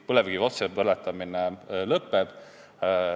Põlevkivi otsepõletamine lõpeb.